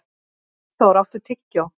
Magnþór, áttu tyggjó?